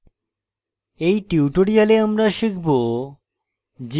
in tutorial আমরা শিখব